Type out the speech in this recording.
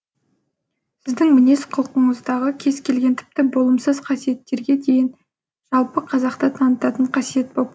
сіздің мінез құлқыңыздағы кез келген тіпті болымсыз қасиеттерге дейін жалпы қазақты танытатын қасиет боп көрінеді